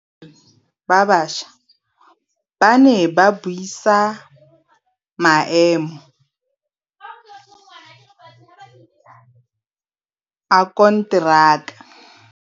Badiri ba baša ba ne ba buisa maêmô a konteraka.